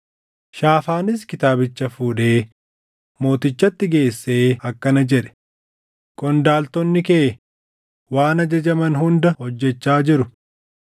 Shaafaanis kitaabicha fuudhee mootichatti geessee akkana jedhe; “Qondaaltonni kee waan ajajaman hunda hojjechaa jiru.